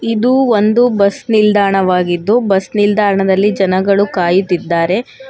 ಇದು ಒಂದು ಬಸ್ ನಿಲ್ದಾಣವಾಗಿದ್ದು ಬಸ್ ನಿಲ್ದಾಣದಲ್ಲಿ ಜನಗಳು ಕಾಯುತ್ತಿದ್ದಾರೆ.